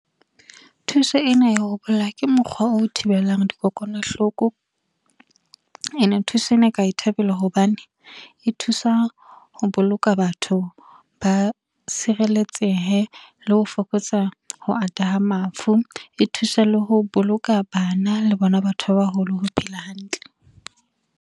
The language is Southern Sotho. Thuso ena ya ho bolla ke mokgwa o thibelang dikokwanahloko ene thuso ena ka e thabela, hobane e thusa ho boloka batho ba sireletsehe le ho fokotsa ho ata ha mafu, e thusa le ho boloka bana le bona batho ba baholo ho phela hantle.